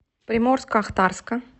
приморско ахтарска